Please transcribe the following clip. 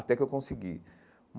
Até que eu consegui.